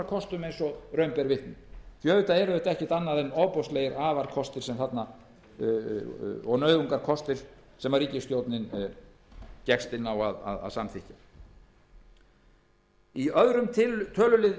raun ber vitni því að auðvitað eru það ekkert annað en ofboðslegir afarkostir og nauðungarkostir sem ríkisstjórnin gekkst inn á að samþykkja í öðrum tölulið